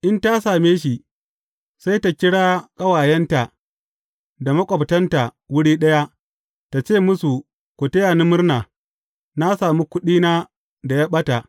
In ta same shi, sai ta kira ƙawayenta da maƙwabtanta wuri ɗaya, ta ce musu, Ku taya ni murna, na sami kuɗina da ya ɓata.’